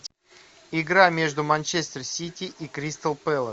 игра между манчестер сити и кристал пэлас